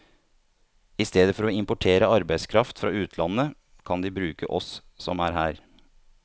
I stedet for å importere arbeidskraft fra utlandet, kan de bruke oss som er her.